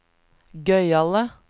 gøyale